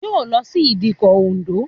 Yóò lọ sí ìdíkọ̀ Òǹdó